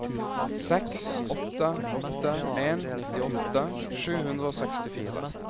seks åtte åtte en nittiåtte sju hundre og sekstifire